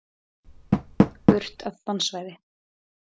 Burt af bannsvæði.